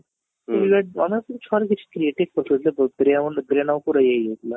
ଇଏ ତମେ କିଛି creative କରୁଥିଲ ମନ ଉପରେ ଉର ହେଇ ଯାଉଥିଲା